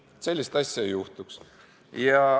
Et sellist asja ei juhtuks.